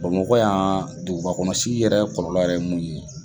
Bamakɔ yan, dugubakɔnɔ sigi yɛrɛ kɔlɔlɔ yɛrɛ mun ye.